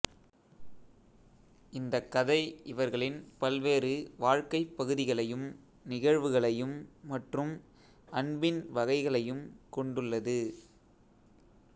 இந்தக்கதை இவர்களின் பல்வேறு வாழ்க்கை பகுதிகளையும் நிகழ்வுகளையும் மற்றும் அன்பின் வகைகளையும் கொண்டுள்ளது